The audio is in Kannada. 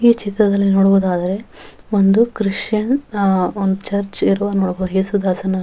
ಈ ಚಿತ್ರದಲ್ಲಿ ನೋಡುವುದಾದರೆ ಒಂದು ಕ್ರಿಶ್ಚಿಯನ್ ಆ ಒಂದು ಚರ್ಚ್ ಇರುವ ನೋಡಬಹುದು ಯೇಸುದಾಸನ --